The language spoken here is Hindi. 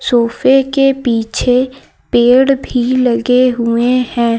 सोफे के पीछे पेड़ भी लगे हुए हैं।